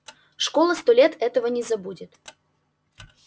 школа сто лет этого не забудет